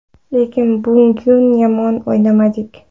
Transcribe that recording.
Lekin bugun yomon o‘ynamadik.